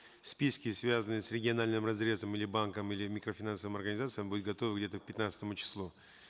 списки связанные с региональным разрезом или банком или микрофинансовыми организациями будут готовы где то к пятнадцатому числу